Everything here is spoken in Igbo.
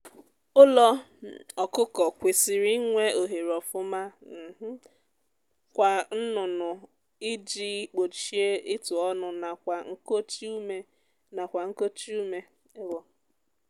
ụlọ um ọkụkọ kwesịrị inwe ohere ofuma um kwa nnụnụ iji gbochie ịtụ ọnụ nakwa nkochi ume nakwa nkochi ume um